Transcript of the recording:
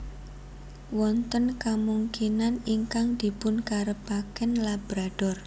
Wonten kamungkinan ingkang dipunkarepaken Labrador